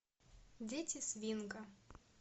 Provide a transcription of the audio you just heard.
дети свинга